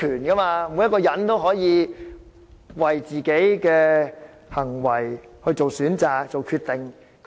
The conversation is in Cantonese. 人人都要為自己的行為作出選擇和決定。